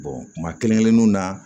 kuma kelen kelenninnu na